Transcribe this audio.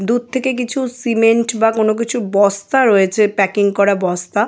দূর থেকে কিছু সিমেন্ট বা কোনো কিছু বস্তা রয়েছে প্যাকিং করা বস্তা।